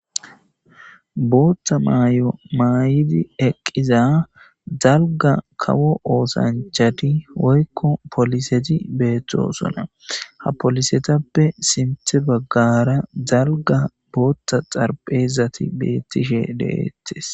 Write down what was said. Booththa mayo mayidi eqqiza dalgga kawo osanchchati woykko pooliseti beetosona. Ha poolisetappe sinththe baggara dalgga booththa xaraphezati beettishe de'ishe de'ettees.